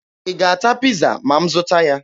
Ị ga-ata Piiza ma m zụta ya?